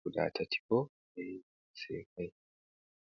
guda tati bo ɓe seykai.